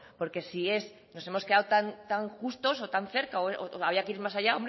porque si hemos quedado tan justos o tan cerca o habría que ir más allá